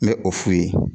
N bɛ o f'u ye